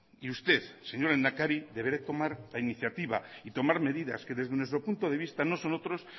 y usted señor lehendakari deberá tomar la iniciativa y tomar medidas que desde nuestro punto de vista no son otros